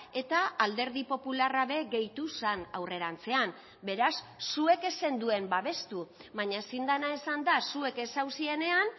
eta alderdi popularra be gehitu zen aurrerantzean beraz zuek ez zenduen babestu baina ezin dena esan da zuek ez zauzienean